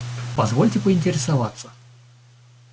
позвольте поинтересоваться